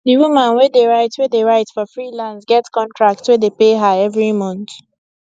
d woman wey dey write wey dey write for freelance get contract wey dey pay her every month